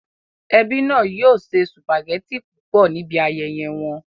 Ẹbí náà yóò se sùpàgẹ́tì púpọ̀ níbi ayẹyẹ wọn